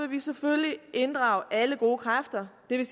vi selvfølgelig inddrage alle gode kræfter det vil